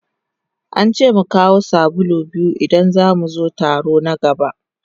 An ce mu kawo sabulu biyu idan za mu zo taro na gaba.